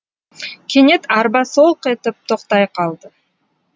кенет арба солқ етіп тоқтай қалды